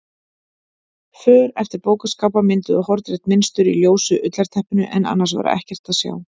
För eftir bókaskápa mynduðu hornrétt mynstur í ljósu ullarteppinu en annars var ekkert að sjá.